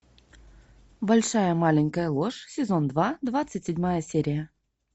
большая маленькая ложь сезон два двадцать седьмая серия